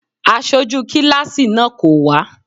Aṣojú kíláàsì náà kò wá.